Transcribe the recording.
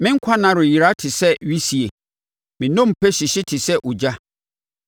Me nkwa nna reyera te sɛ wisie; me nnompe hyehye te sɛ egya.